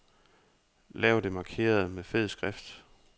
Lav det markerede med fed skrift.